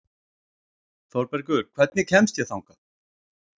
Þorbergur, hvernig kemst ég þangað?